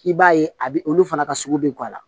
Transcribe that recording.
I b'a ye a bɛ olu fana ka sugu bɛ guwanna